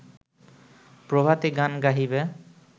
প্রভাতী গান গাহিবে